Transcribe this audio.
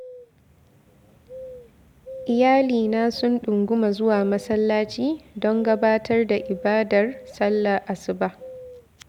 Iyalaina sun ɗinguma zuwa masallaci don gabatar da ibadar sallah asuba.